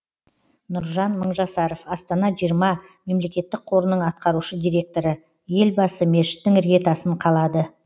нұржан мыңжасаров астана жиырма мемлекеттік қорының атқарушы директоры елбасы мешіттің іргетасын қалады